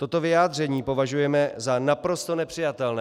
Toto vyjádření považujeme za naprosto nepřijatelné.